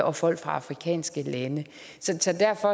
og folk fra afrikanske lande